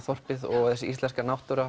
þorpið og þessi íslenska náttúra